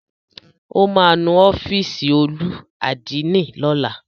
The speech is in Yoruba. Ó máa nu ọ́fìsì olú àdínì lọ́la.